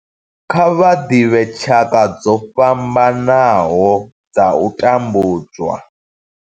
Kha vha ḓivhe tshaka dzo fhambanaho dza u tambudzwa.